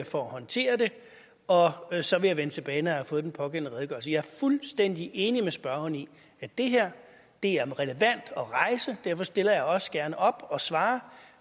for at håndtere det og og så vil jeg vende tilbage når jeg har fået den pågældende redegørelse jeg fuldstændig enig med spørgeren i at det her er relevant at rejse og derfor stiller jeg også gerne op og svarer